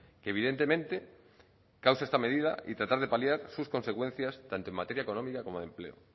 que evidentemente causa esta medida y tratar de paliar sus consecuencias tanto en materia económica como de empleo